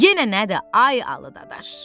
Yenə nədir, ay Alı dadaş?